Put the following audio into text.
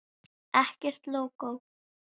Ekkert lógó.